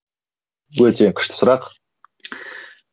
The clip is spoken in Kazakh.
өте күшті сұрақ